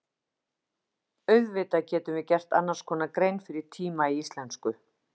Auðvitað getum við gert annars konar grein fyrir tíma í íslensku.